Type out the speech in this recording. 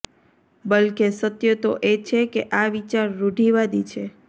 બલકે સત્ય તો એ છે કે આ વિચાર રૂઢિવાદી છે